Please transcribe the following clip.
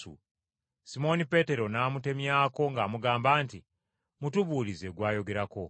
Simooni Peetero n’amutemyako ng’amugamba nti, “Mutubuulize gw’ayogerako.”